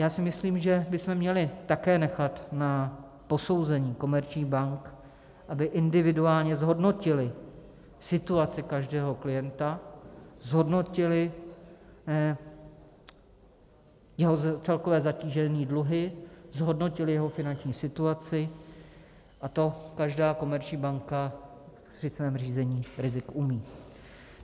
Já si myslím, že bychom měli také nechat na posouzení komerčních bank, aby individuálně zhodnotily situaci každého klienta, zhodnotily jeho celkové zatížení dluhy, zhodnotily jeho finanční situaci, a to každá komerční banka při svém řízení rizik umí.